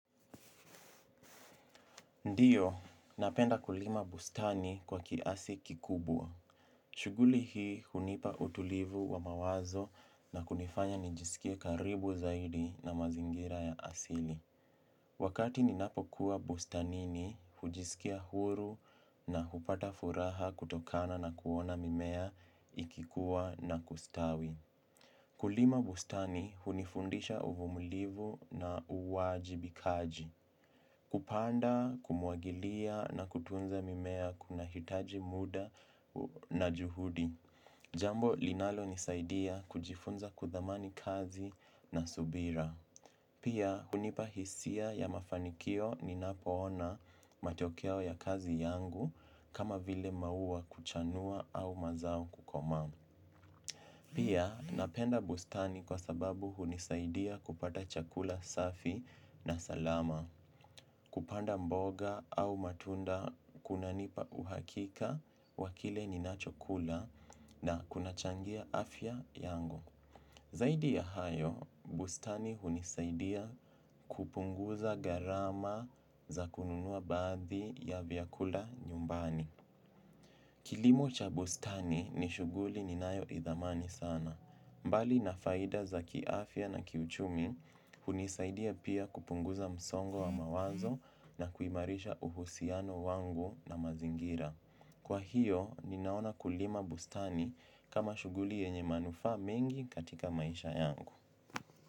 Ndiyo, napenda kulima bustani kwa kiasi kikubwa. Shuguli hii hunipa utulivu wa mawazo na kunifanya nijisikie karibu zaidi na mazingira ya asili. Wakati ninapo kuwa bustanini hujisikia huru na hupata furaha kutokana na kuona mimea ikikuwa na kustawi. Kulima bustani hunifundisha uvumulivu na uwajibikaji. Kupanda, kumwagilia na kutunza mimea kuna hitaji muda na juhudi. Jambo inalonisaidia kujifunza kuthamani kazi na subira. Pia, hunipa hisia ya mafanikio ninapoona matokeo ya kazi yangu kama vile maua kuchanua au mazao kukomaa. Pia, napenda bustani kwa sababu hunisaidia kupata chakula safi na salama. Kupanda mboga au matunda kunanipa uhakika wakile ninachokula na kunachangia afya yangu. Zaidi ya hayo, bustani hunisaidia kupunguza gharama za kununua baadhi ya vyakula nyumbani. Kilimo cha bustani ni shuguli ninayo idhamani sana. Mbali na faida za kiafya na kiuchumi, hunisaidia pia kupunguza msongo wa mawazo na kuimarisha uhusiano wangu na mazingira. Kwa hiyo, ninaona kulima bustani kama shuguli yenye manufa mengi katika maisha yangu.